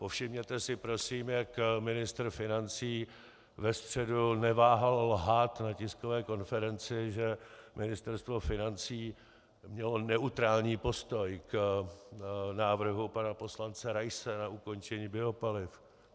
Povšimněte si prosím, jak ministr financí ve středu neváhal lhát na tiskové konferenci, že Ministerstvo financí mělo neutrální postoj k návrhu pana poslance Raise na ukončení biopaliv.